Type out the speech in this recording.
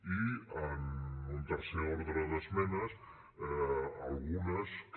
i en un tercer ordre d’esmenes algunes que